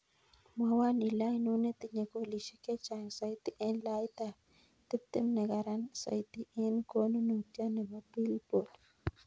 Mwowon ile ainon netinye golisiek chechang soiti en laitab tiptem negaran soiti en konunotiot nepo billboard